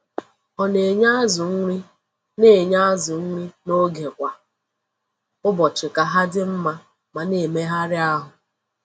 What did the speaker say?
O na-enye azù nri na-enye azù nri n'oge kwa ụbọchị ka ha dị mma ma na-emegharị ahụ.